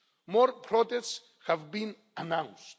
More protests have been announced.